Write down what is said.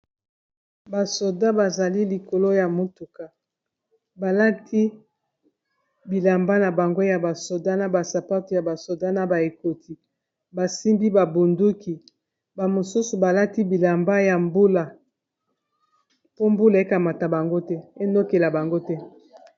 Ba soda bazali likolo ya motuka balati bilamba na bango ya ba soda na ba sapatu ya ba soda na ba ekoti basimbi ba bunduki ba mosusu balati bilamba ya mbula po mbula ekamata bango te enokela bango te.